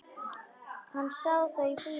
Hann sá þau í bíó.